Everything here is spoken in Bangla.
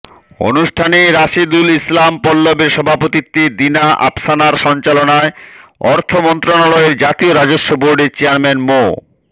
অনুষ্ঠানে রাশেদুল ইসলাম পল্লবের সভাপতিত্বে দিনা আফসানার সঞ্চলনায় অর্থ মন্ত্রণালয়ের জাতীয় রাজস্ব বোর্ডের চেয়ারম্যান মো